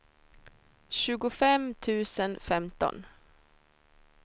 tjugofem tusen femton